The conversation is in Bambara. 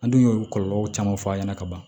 An dun y'o kɔlɔlɔ caman fɔ a ɲɛna ka ban